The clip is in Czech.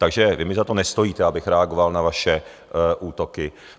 Takže vy mi za to nestojíte, abych reagoval na vaše útoky.